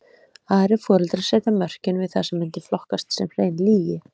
Aðrir foreldrar setja mörkin við það sem mundi flokkast sem hrein lygi.